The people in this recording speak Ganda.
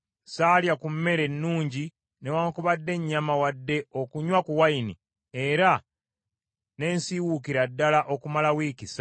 Saalya ku mmere ennungi, newaakubadde ennyama wadde okunywa ku wayini; era ne nsiwuukira ddala okumala wiiki ssatu.